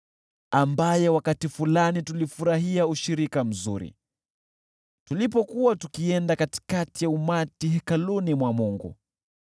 ambaye awali tulifurahia ushirika mzuri, tulipokuwa tukienda na umati hekaluni mwa Mungu.